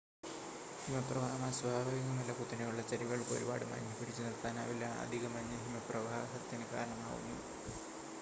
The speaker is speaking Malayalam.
ഹിമപ്രവാഹം അസ്വാഭാവികമല്ല കുത്തനെയുള്ള ചരിവുകൾക്ക് ഒരുപാട് മഞ്ഞ് പിടിച്ചുനിർത്താനാവില്ല അധിക മഞ്ഞ് ഹിമപ്രവാഹത്തിന് കാരണമാവുന്നു